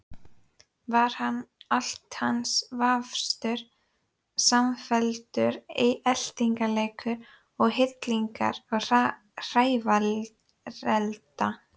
Var allt hans vafstur samfelldur eltingarleikur við hillingar og hrævarelda?